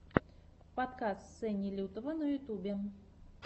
подкаст сени лютого на ютубе